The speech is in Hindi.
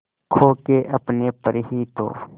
खो के अपने पर ही तो